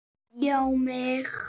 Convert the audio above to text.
Já mig!